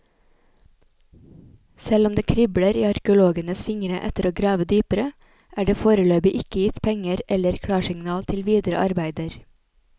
Selv om det kribler i arkeologenes fingre etter å grave dypere, er det foreløpig ikke gitt penger eller klarsignal til videre arbeider.